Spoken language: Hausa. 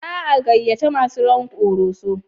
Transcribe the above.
Za a gayyaci masu rawan Koroso?